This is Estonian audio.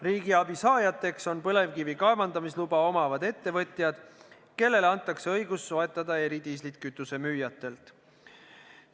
Riigiabi saajateks on põlevkivi kaevandamise luba omavad ettevõtjad, kellele antakse õigus soetada eridiislit kütusemüüjatelt.